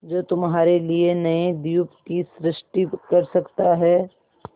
जो तुम्हारे लिए नए द्वीप की सृष्टि कर सकता है